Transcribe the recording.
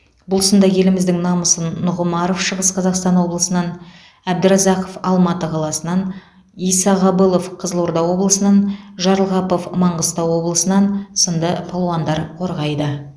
бұл сында еліміздің намысын нұғымаров шығыс қазақстан облысынан әбдіразақов алматы қаласынан исағабылов қызылорда облысынан жарылғапов маңғыстау облысынан сынды балуандар қорғайды